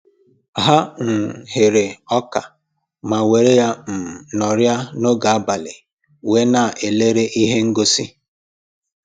Ha um ghere ọka ma were ya um nọrịa n'oge abalị wee na-elere ihe ngosi